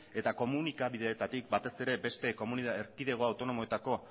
eta komunikabideetatik batez ere beste erkidego autonomoetako